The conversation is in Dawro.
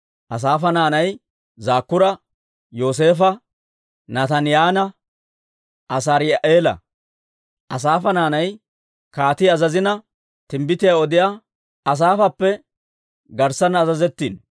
Asaafa naanay Zakkuura, Yooseefo, Nataaniyaanne Asaari'eela. Asaafa naanay kaatii azazina, timbbitiyaa odiyaa Asaafappe garssanna azazettiino.